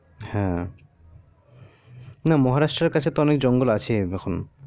হ্যা না মাহারাষ্টের কাছে অনেক তো জঙ্গল আছে যখন